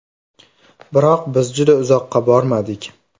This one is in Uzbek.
Biroq biz juda uzoqqa bormadik.